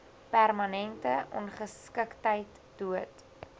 permanente ongeskiktheid dood